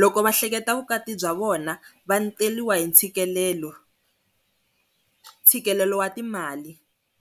loko va hleketaka vukati bya vona va teriwa hi ntshikelelo, ntshikelelo wa timali.